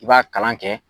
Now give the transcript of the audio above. I b'a kalan kɛ